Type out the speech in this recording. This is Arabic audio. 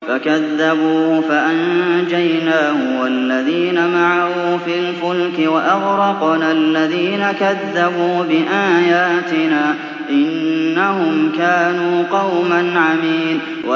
فَكَذَّبُوهُ فَأَنجَيْنَاهُ وَالَّذِينَ مَعَهُ فِي الْفُلْكِ وَأَغْرَقْنَا الَّذِينَ كَذَّبُوا بِآيَاتِنَا ۚ إِنَّهُمْ كَانُوا قَوْمًا عَمِينَ